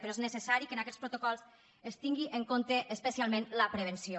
però és necessari que en aquests protocols es tingui en compte especialment la prevenció